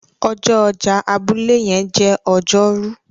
ọjọ ọjà abúlé yen jé Ọjọ́ Rú